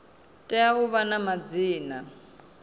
tea u vha na madzina